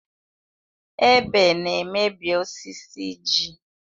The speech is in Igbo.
Ebe na-emebi osisi ji.